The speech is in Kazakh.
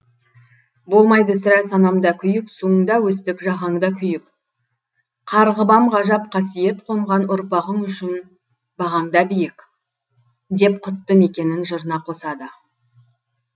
болмайды сірә санамда күйік суыңда өстік жағаңда күйіп қарғыбам ғажап қасиет қонған ұрпағың үшін бағаңда биік деп құтты мекенін жырына қосады